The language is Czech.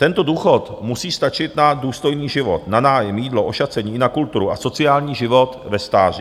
Tento důchod musí stačit na důstojný život, na nájem, jídlo, ošacení, na kulturu a sociální život ve stáří.